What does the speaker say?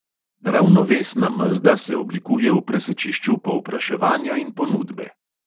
Ravnovesna mezda se oblikuje v presečišču povpraševanja in ponudbe.